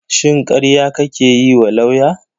Shin karya kake yiwa lauya?